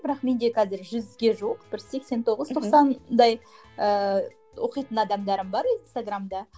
бірақ менде қазір жүзге жуық бір сексен тоғыз тоқсандай ыыы оқитын адамдарым бар инстаграмда